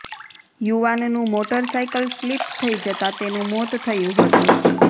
યુવાનનું motor cycle slip થઈ જતાં તેનું મોત થયું હતું